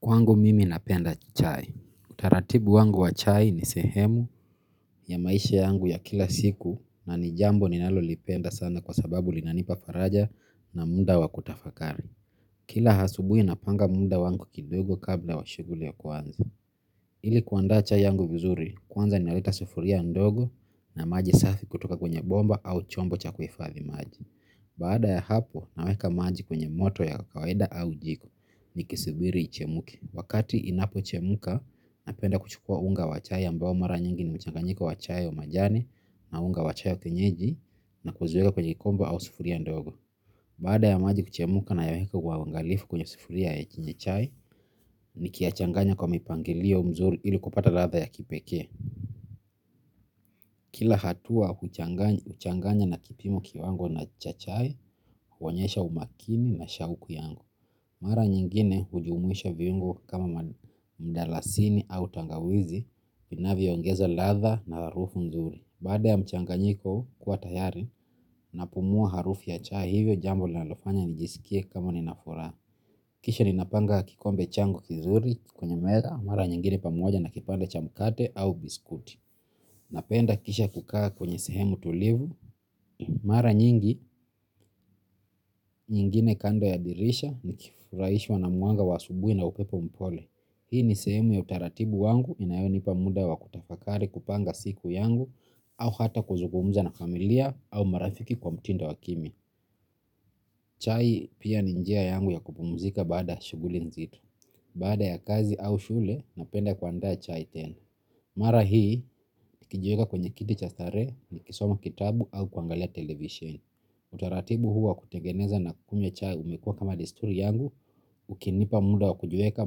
Kwangu mimi napenda chai. Utaratibu wangu wa chai ni sehemu ya maisha yangu ya kila siku na ni jambo ninalolipenda sana kwa sababu linanipa faraja na muda wa kutafakari. Kila asubuhi napanga muda wangu kidogo kabla wa shughuli ya kwanza. Ili kuandaa chai yangu vizuri, kwanza niweka sufuria ndogo na maji safi kutoka kwenye bomba au chombo cha kuhifadhi maji. Baada ya hapo naweka maji kwenye moto ya kawaida au jiko nikisibiri ichemke. Wakati inapochemuka napenda kuchukua unga wa chai ambao mara nyingi ni mchanganyiko wa chai wa majani na unga wa chai kwenyeji na kuzieka kwenye kikombe au sufuria ndogo. Baada ya maji kuchemka nayaweka kwa uangalifu kwenye sufuria ya chai nikiyachanganya kwa mipangilio mzuri ili kupata ladha ya kipekee. Kila hatua, huchanganya na kipimo kiwango na cha chai, huonyesha umakini na shauku yangu. Mara nyingine hujumuisha viungo kama mdalasini au tangawizi, vinavyoongeza ladha na harufu nzuri. Baada ya mchanganyiko kuwa tayari, napumua harufu ya chai hivyo jambo linalofanya nijisikie kama nina furaha. Kisha ninapanga kikombe changu kizuri kwenye meza, mara nyingine pamoja na kipande cha mkate au biskuti. Napenda kisha kukaa kwenye sehemu tulivu. Mara nyingi, nyingine kando ya dirisha ni kifurahishwa na mwanga wa asubuhi na upepo mpole. Hii ni sehemu ya utaratibu wangu inayonipa muda wa kutafakari kupanga siku yangu au hata kuzugumuza na familia au marafiki kwa mtindo wa kimya. Chai pia ni njia yangu ya kupumuzika baada ya shughuli nzito baada ya kazi au shule napenda kuandaa chai tena. Mara hii kijuweka kwenye kiti cha starehe na kusoma kitabu au kuangalia televisheni. Utaratibu hu wa kutengeneza na kunywa chai umekua kama disturi yangu ikinipa muda wa kujiweka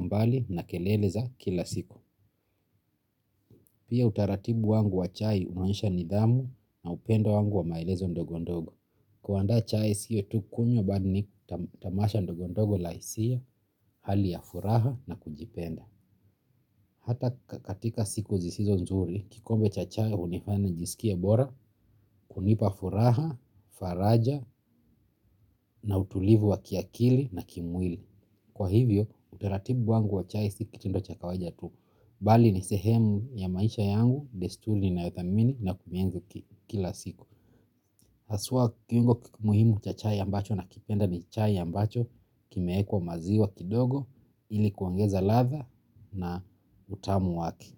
mbali na kelele za kila siku. Pia utaratibu wangu wa chai huonyesha nidhamu na upendo wangu wa maelezo ndogondogo. Kuandaa chai sio tu kunywa bali ni tamasha ndogondogo la hisia, hali ya furaha na kujipenda. Hata katika siku zisizo nzuri, kikombe cha chai hunifanya nijisikie bora, kunipa furaha, faraja na utulivu wa kiakili na kimwili. Kwa hivyo, utaratibu wangu wa chai si kitendo cha kawaida tu. Bali ni sehemu ya maisha yangu, desturi ninayothamini na kuienzi kila siku. Haswa kiungo muhimu cha chai ambacho nakipenda ni chai ambacho kimewekwa maziwa kidogo ili kuongeza ladha na utamu wake.